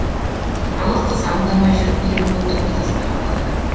ал қыз аңдамай жүріп екі оттың ортасында қалады